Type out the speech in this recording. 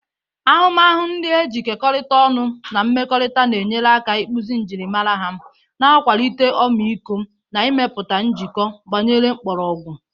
Ahụmahụ ndị e kekọrịtara ọnụ na mmekọrịta na-enyere aka ịkpụzi njirimara ha, na-akwalite ọmịiko, na ịmepụta njikọ gbanyere mkpọrọgwụ.